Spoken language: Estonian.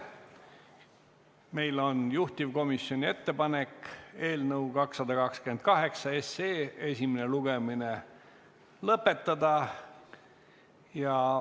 Meil on juhtivkomisjoni ettepanek eelnõu 228 esimene lugemine lõpetada.